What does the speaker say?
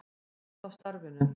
Út af starfinu.